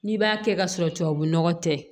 N'i b'a kɛ ka sɔrɔ tubabunɔgɔ tɛ